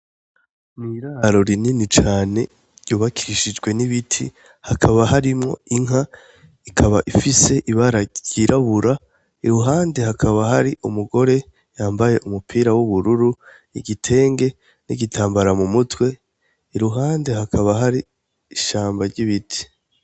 N’iraro rinini cane ryubakishijwe n’ibiti hakaba harimwo inka ,ikaba ifise ibara ryirabura , iruhande hakaba hari umugore yambaye umupira w’ubururu, igitenge n’igitanbara mu mutwe , iruhande hakaba hari ishamba ry’ibiti.